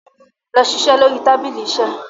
lọ ṣiṣẹ lórí tábìlì iṣe.